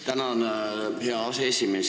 Tänan, hea aseesimees!